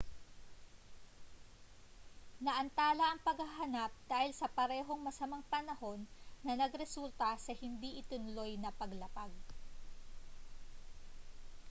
naantala ang paghahanap dahil sa parehong masamang panahon na nagresulta sa hindi itinuloy ng paglapag